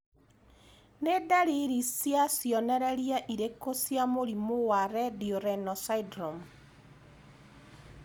Nĩ ndariri na cionereria irĩkũ cia mũrimũ wa Radio renal syndrome?